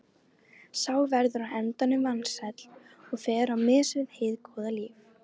Sá verður á endanum vansæll og fer á mis við hið góða líf.